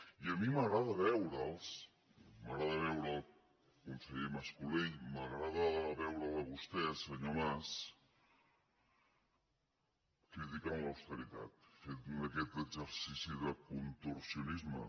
i a mi m’agrada veure’ls m’agrada veure el conseller mas colell m’agrada veure’l a vostè senyor mas criticant l’austeritat fent aquest exercici de contorsionisme